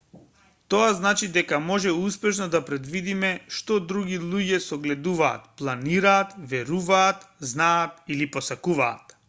тоа значи дека може успешно да предвидиме што другите луѓе согледуваат планираат веруваат знаат или посакуваат